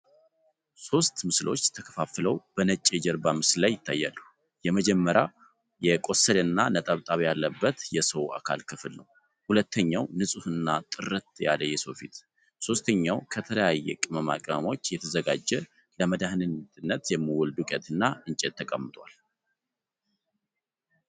ሶስት ምስሎች ተከፋፍሎ በነጭ የጀርባ ምስል ላይ ይታያሉ። የመጀመሪያው የቆሰለና ነጠብጣብ ያለበት የሰው የአካል ክፍል ነው። ሁለተኛው ንጹህና ጥርት ያለ የሰው ፊት ፤ ሦስተኛው ከተለያዩ ቅመማ ቅመሞች የተዘጋጀ ለመድሀኒትነት የሚውል ድቄት እና እንጨት ተቀምጧል።